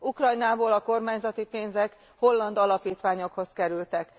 Ukrajnából a kormányzati pénzek holland alapítványokhoz kerültek.